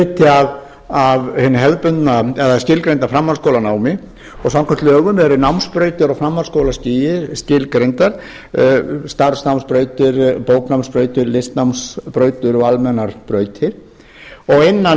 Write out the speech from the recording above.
að tónlistarnám er jú hluti af hinu skilgreinda framhaldsskólanámi og samkvæmt lögum eru námsbrautir á framhaldsskólastigi skilgreindar starfsnámsbrautir bóknámsbrautir listnámsbrautir og almennar brautir og innan